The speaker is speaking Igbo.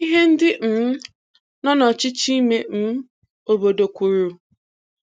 Ihe ndị um nọ nọchịchị ime um obodo kwuru.